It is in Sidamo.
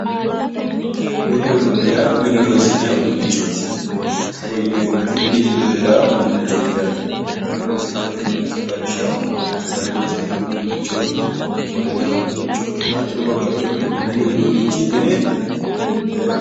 Mini uduunni yaa mine horonsi'nayi uduunnichooti. togo yineemmo woyiite mini giddo heeraa uduunnichooti yaate. mine horonsi'nayi uduunnicho lawishshaho sagale loosi'nayi uduunnicho ofollinayi uduunnicho hattono babbaxewoori mini uduunnichi mine heeraho.